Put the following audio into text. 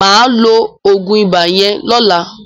Mà á lo oògùn ibà yẹn lọ́la